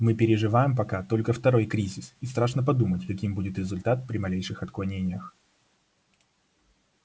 мы переживаем пока только второй кризис и страшно подумать каким будет результат при малейших отклонениях